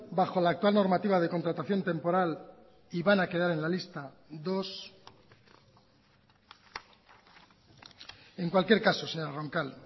bajo la actual normativa de contratación temporal y van a quedar en la lista dos en cualquier caso señora roncal